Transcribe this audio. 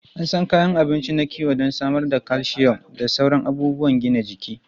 An san kayan abinci na kiwo don samar da calcium da sauran abubuwan gina jiki.